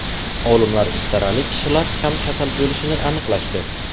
Olimlar istarali kishilar kam kasal bo‘lishini aniqlashdi.